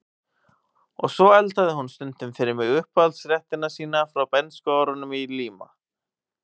Og svo eldaði hún stundum fyrir mig uppáhaldsréttina sína frá bernskuárunum í Líma